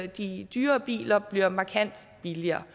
de dyrere biler bliver markant billigere